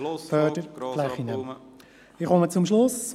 Ich komme zum Schluss.